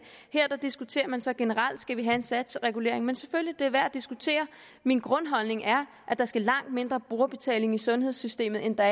her diskuterer man så generelt skal have en satsregulering selvfølgelig det værd at diskutere min grundholdning er at der skal langt mindre brugerbetaling i sundhedssystemet end der